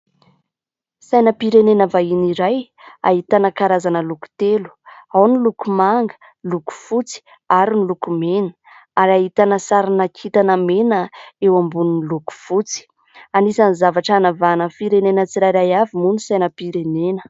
Sainam-pirenena vahiny iray, ahitana karazana loko telo. Ao ny loko manga, loko fotsy ary ny loko mena, ary ahitana sarina kintana mena eo ambonin'ny loko fotsy. Anisan'ny zavatra hanavahana ny firenena tsirairay avy moa ny sainam-pirenena.